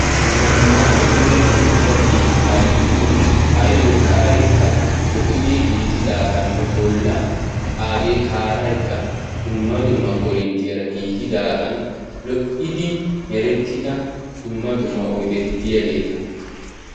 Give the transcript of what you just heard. zamaana puulati uttido keetaa giddon ayoo sa'aykka lo'idi giigidaaganne kaaraykka lo'id uttidaagaanne merettida dumma dumma oydeti diyaageeta.